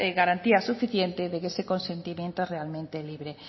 garantías suficientes de que ese consentimiento es realmente libre